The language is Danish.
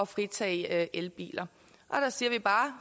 fritage elbiler så siger vi bare